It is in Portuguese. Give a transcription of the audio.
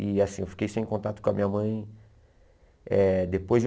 E assim, eu fiquei sem contato com a minha mãe eh depois de